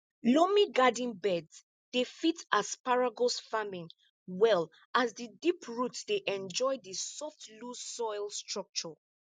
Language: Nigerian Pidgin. loamy garden beds dey fit asparagus farming well as di deep root dey enjoy di soft loose soil structure